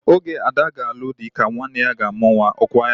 Oge Ada ga-alụ di ka nwanne ya ga-amụ nwa. Ọ kwa ya?